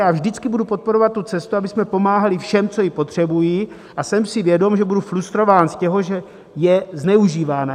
Já vždycky budu podporovat tu cestu, abychom pomáhali všem, co to potřebují, a jsem si vědom, že budu frustrován z toho, že je zneužívána.